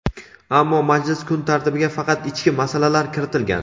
ammo majlis kun tartibiga faqat ichki masalalar kiritilgan.